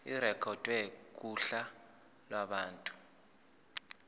irekhodwe kuhla lwabantu